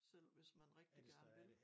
Selv hvis man rigtig gerne vil